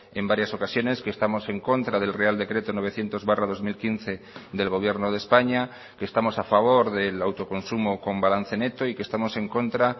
en varias ocasiones que estamos en contra del real decreto novecientos barra dos mil quince del gobierno de españa que estamos a favor del autoconsumo con balance neto y que estamos en contra